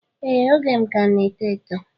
Ee oge m ka na eto eto